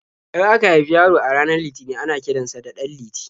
In aka haifi yaro a ranar Litinin ana kiran sa da 'Ɗanliti'.